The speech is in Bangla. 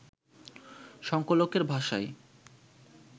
সংকলকের ভাষায়